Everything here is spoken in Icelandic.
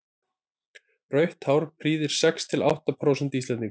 rautt hár prýðir sex til átta prósent íslendinga